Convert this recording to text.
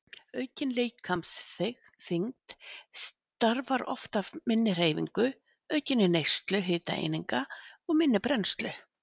Aukin líkamsþyngd starfar oft af minni hreyfingu, aukinni neyslu hitaeininga og minni brennslu.